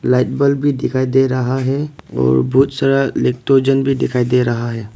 Light bulb भी दिखाई दे रहा है और बहुत सारा लैक्टोजन भी दिखाई दे रहा है।